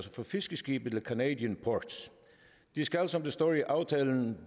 fiskeskibe to canadian ports den skal som det står i aftalen